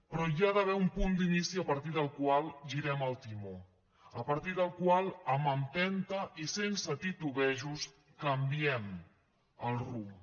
però hi ha d’haver un punt d’inici a partir del qual girem el timó a partir del qual amb empenta i sense titubejos canviem el rumb